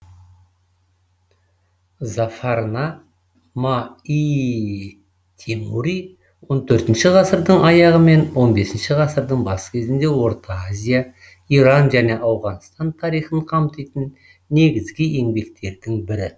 зафарна ма ий тимури он төртінші ғасырдың аяғы мен он бесінші ғасырдың бас кезіндегі орта азия иран және ауғанстан тарихын қамтитын негізгі еңбектердің бірі